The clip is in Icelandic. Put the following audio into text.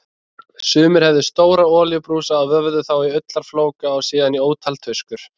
Sumir höfðu stóra olíubrúsa og vöfðu þá í ullarflóka og síðan í ótal tuskur.